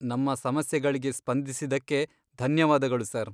ನಮ್ಮ ಸಮಸ್ಯೆಗಳಿಗೆ ಸ್ಪಂದಿಸಿದ್ದಕ್ಕೆ ಧನ್ಯವಾದಗಳು ಸರ್.